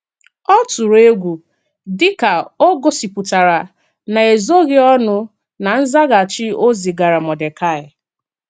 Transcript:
Ọ tụ̀rụ egwu, díkà ò gosipụtara n’ezoghị ọnụ na nzàghachi ò zìgàrà Mọ́dekaị.